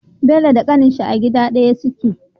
Bello da kanin shi a gida daya suke